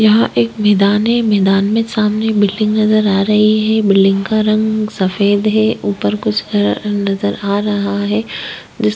यहाँ एक मैदान है मैदान में सामने बिल्डिंग नज़र आ रही है बिल्डिंग का रंग सफेद है ऊपर कुछ हरा रंग नज़र आ रहा है जिस--